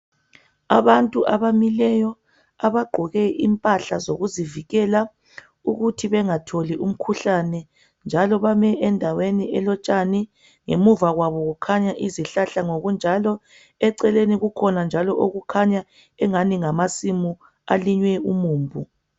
Abantu abamileyo abagqoke impahla zokuzivikela ukuthi bengatholi umkhuhlane njalo bame endaweni elotshani nemuva kwabo kukhanya izihlahla ngokunjalo eceleni kukhona njalo okukhanya angani ngamasimu alime umumbu.